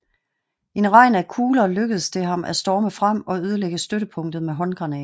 I en regn af kugler lykkedes det ham at storme frem og ødelægge støttepunktet med håndgranater